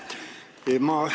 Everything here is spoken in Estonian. Aitäh!